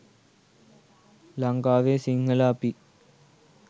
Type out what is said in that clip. ලංකාවේ සිංහල අපි